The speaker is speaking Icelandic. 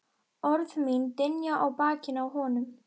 Orð mín dynja á bakinu á honum.